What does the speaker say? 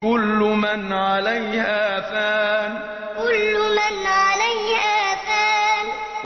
كُلُّ مَنْ عَلَيْهَا فَانٍ كُلُّ مَنْ عَلَيْهَا فَانٍ